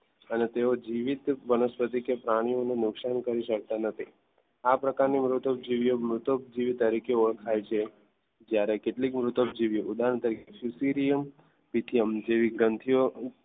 અને તેઓ જીવિત વનસ્પતિ કે પ્રાણીઓને નુકસાન કરી શકતા નથી આ પ્રકારની મૃતોપજીવીઓ મૃતોપજીવીઓ તરીકે ઓળખાય છે. જ્યારે કેટલીક મૃતોપજીવીઓ ઉદાહરણ તરીકે લિથિયમ જેવી ગ્રંથિઓ